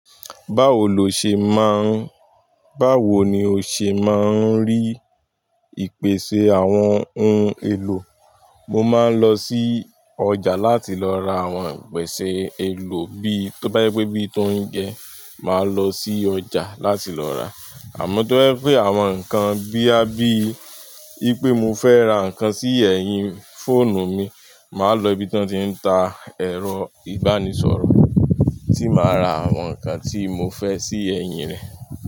Báwo lo ṣe máa ń, báwo ni o ṣe máa ń rí ìpèsè àwọn ohun èlò? Mo máa ń lọ sí ọjà láti lọ ra àwọn ìpèsè èlò bíi, tó bá je pé bí i t'óuńjẹ, màá lọ sí ọjà láti lọ rà á. Àmọ́ tó bá yẹ pé àwọn nǹkan bí a bí i pé mo fẹ́ ra nǹkan sí ẹ̀yìn fóònù mi, màá lọ ibi tí wọ́n ti ń ta ẹ̀rọ ìbánisọ̀rọ̀ tí màá ra àwọn nǹkan tí mo fẹ́ sí ẹ̀yìn rẹ̀.